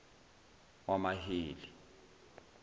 wamaheli